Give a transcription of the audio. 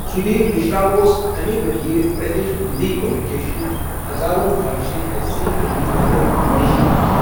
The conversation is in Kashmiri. سُدھیٖر مشرا اوس امی ؤریہِ، پِرتِیش ننٛدی کٔمیٛونِکیشنٛزچہِ 'ہَزاروں خواہِشیں ایسی' فِلمہِ خٲطرٕآڈِشن ہیوان ۔